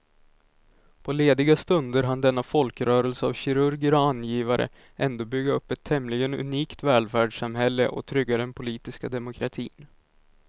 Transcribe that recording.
På lediga stunder hann denna folkrörelse av kirurger och angivare ändå bygga upp ett tämligen unikt välfärdssamhälle och trygga den politiska demokratin.